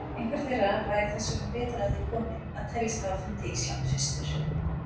Einhver þeirra væri þess vegna betur að því kominn að teljast hafa fundið Ísland fyrstur.